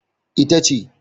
E, ita ce.